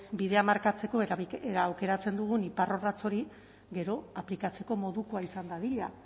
bidea markatzeko aukeratzen dugun iparrorratz hori gero aplikatzeko modukoa izan dadila